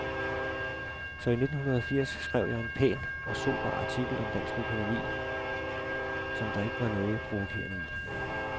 Så i nittenhundredeogfirs skrev jeg en pæn og sober artikel om dansk økonomi, som der ikke var noget provokerende i.